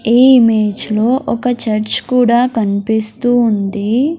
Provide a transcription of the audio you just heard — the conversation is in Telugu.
ఈ ఇమేజ్ లో ఒక చర్చ్ కూడా కన్పిస్తూ ఉంది.